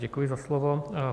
Děkuji za slovo.